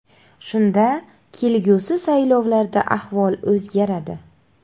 Shunda kelgusi saylovlarda ahvol o‘zgaradi.